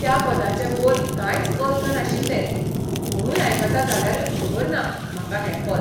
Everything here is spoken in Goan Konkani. त्या पदाचे बोल कांयच अर्थ नाशिल्ले, कोणूय आयकता जाल्यारूय खबर ना म्हाका हें पद.